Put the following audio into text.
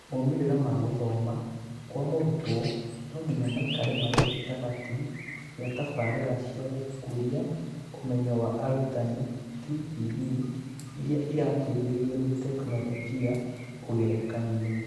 Moimĩrĩra ma gũthoma kwa mũrũtwo no ngĩnya maikare marĩ gĩtagatĩ kĩa tabarĩĩra cia gũkũria ũmenyo wa arutani (TPD) ĩrĩa ira-teĩthĩrĩrio nĩ tekinoronjĩ na ũgerekanĩo.